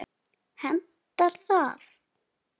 Hentar það?